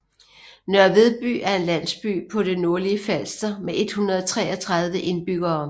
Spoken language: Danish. Nørre Vedby er en landsby på det nordlige Falster med 133 indbyggere